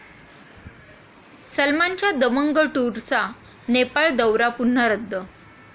सलमानच्या 'दबंग टूर'चा नेपाळ दौरा पुन्हा रद्द